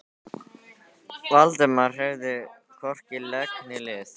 Valdimar hreyfði hvorki legg né lið.